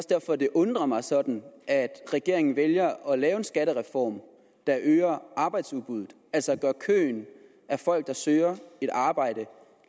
derfor det undrer mig sådan at regeringen vælger at lave en skattereform der øger arbejdsudbuddet altså at gøre køen af folk der søger et arbejde